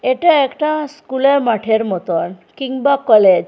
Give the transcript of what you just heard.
এটা একটা স্কুলের মাঠের মতন কিংবা কলেজ ।